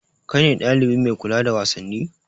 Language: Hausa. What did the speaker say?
Kai ne ɗalibi mai kula da wasanni?